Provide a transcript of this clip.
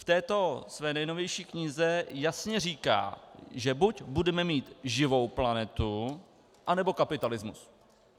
V této své nejnovější knize jasně říká, že buď budeme mít živou planetu, nebo kapitalismus.